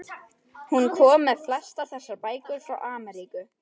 Hún kom með flestar þessar bækur frá Ameríku.